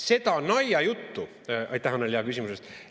Seda naljajuttu – aitäh, Annely, hea küsimuse eest!